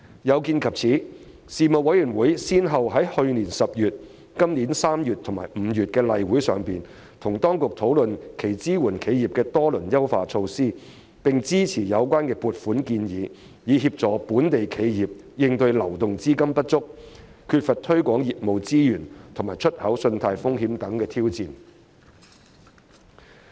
有見及此，事務委員會先後在去年10月、本年3月及5月的例會上與當局討論其支援企業的多輪優化措施，並支持有關的撥款建議，以協助本地企業應對流動資金不足、缺乏推廣業務資源及出口信貸風險等挑戰。